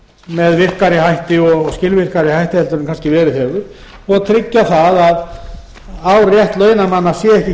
með virkari hætti og skilvirkari hætti en kannski verið hefur og tryggja að á rétt launamanna sé ekki